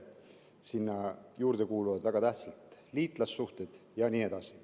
Sinna juurde kuuluvad väga tähtsad liitlassuhted jne.